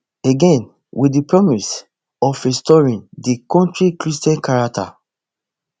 again wit di promise of restoring di kontri christian character